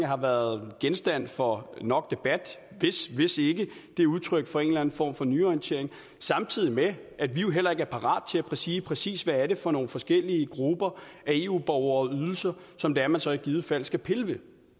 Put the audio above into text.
har været genstand for nok debat hvis ikke det er udtryk for en form for nyorientering samtidig med at vi jo heller ikke er parate at sige præcis hvad det er for nogle forskellige grupper af eu borgere og ydelser som det er man så i givet fald skal pille ved